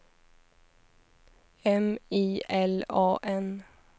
M I L A N